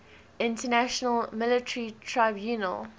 international military tribunal